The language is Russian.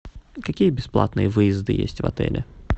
какие бесплатные выезды есть в отеле